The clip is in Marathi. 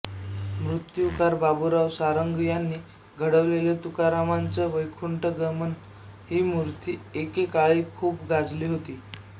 मूर्तीकार बाबुराव सारंग यांनी घडवलेली तुकारामांचं वैकुंठगमन ही मूर्ती एकेकाळी खूप गाजली होती